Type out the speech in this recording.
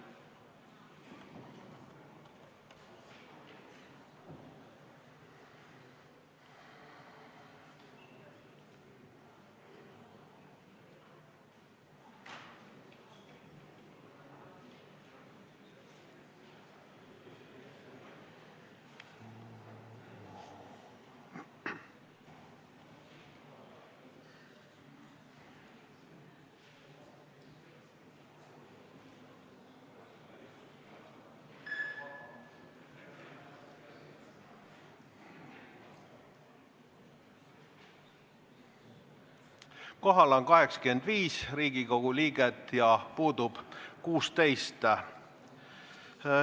Kohaloleku kontroll Kohal on 85 Riigikogu liiget ja puudub 16.